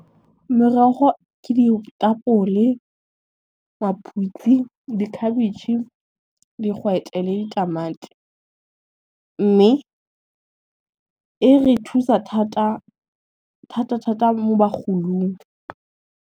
Merogo ke ditapole, maphutsi, dikhabetšhe, digwete le ditamati, mme e re thusa thata thata mo bagolong.